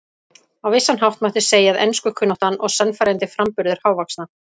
Á vissan hátt mátti segja að enskukunnátta og sannfærandi framburður hávaxna